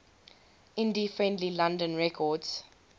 indie friendly london records